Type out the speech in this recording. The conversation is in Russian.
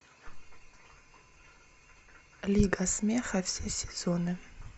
лига смеха все сезоны